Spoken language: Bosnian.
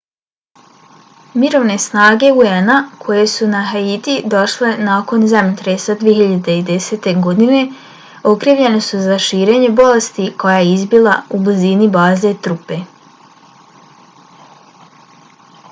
mirovne snage un-a koje su na haiti došle nakon zemljotresa 2010. godine okrivljene su za širenje bolesti koja je izbila u blizini baze trupe